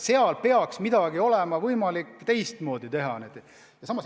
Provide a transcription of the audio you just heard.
Seega peaks olema võimalik kuidagi teistmoodi asi korraldada.